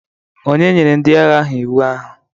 Ònye nyere ndị agha ahụ iwu ahụ?